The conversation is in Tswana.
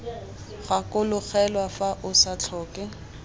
gakologelwa fa o sa tlhoke